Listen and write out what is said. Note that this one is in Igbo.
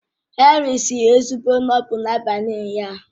Henry siri ezigbo noodles n'abalị ụnyaahụ